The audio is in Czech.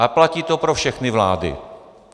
A platí to pro všechny vlády.